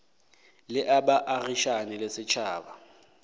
le a baagišane le setšhaba